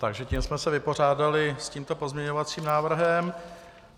Takže tím jsme se vypořádali s tímto pozměňovacím návrhem.